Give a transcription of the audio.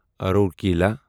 Rourkela